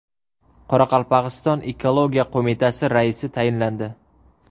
Qoraqalpog‘iston Ekologiya qo‘mitasi raisi tayinlandi.